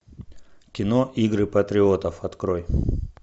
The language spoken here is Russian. кино игры патриотов открой